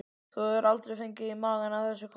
Þú hefur aldrei fengið í magann af þessu káli?